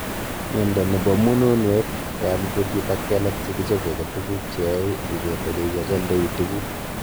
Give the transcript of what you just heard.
Miondo nebo munuunweet, koyam kutit ak kelek chekichope ko tuguk cheyae ibet ole ichachaindoi tuguk